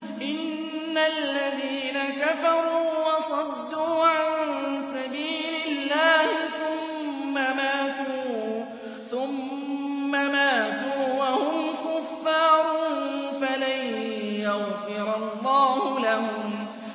إِنَّ الَّذِينَ كَفَرُوا وَصَدُّوا عَن سَبِيلِ اللَّهِ ثُمَّ مَاتُوا وَهُمْ كُفَّارٌ فَلَن يَغْفِرَ اللَّهُ لَهُمْ